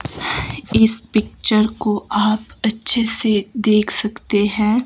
इस पिक्चर को आप अच्छे से देख सकते हैं।